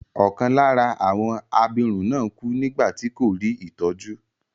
Ọkàn lára àwọn abirùn náà kú nígbà tí kò rí ìtọ́jú.